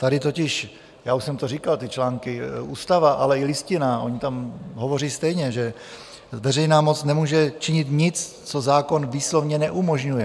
Tady totiž - já už jsem to říkal, ty články - ústava, ale i listinná, ony tam hovoří stejně, že veřejná moc nemůže činit nic, co zákon výslovně neumožňuje.